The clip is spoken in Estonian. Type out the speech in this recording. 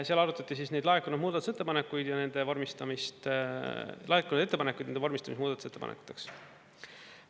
Seal arutati neid laekunud muudatusettepanekuid ja nende vormistamist, laekunud ettepanekuid ja nende vormistamist muudatusettepanekuteks.